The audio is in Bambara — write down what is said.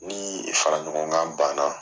Ni faraɲɔgɔnkan banna.